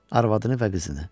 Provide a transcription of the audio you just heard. Arvadını və qızını.